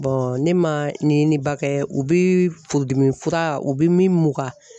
ne ma ɲɛɲiniba k,ɛ u bi furudimi fura u bi min mugan